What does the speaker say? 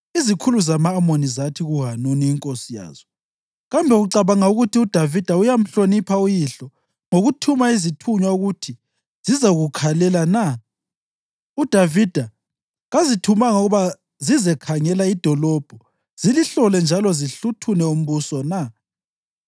izikhulu zama-Amoni zathi kuHanuni inkosi yazo, “Kambe ucabanga ukuthi uDavida uyamhlonipha uyihlo ngokuthuma izithunywa ukuthi zizokukhalela na? UDavida kazithumanga ukuba zizekhangela idolobho zilihlole njalo zihluthune umbuso na?”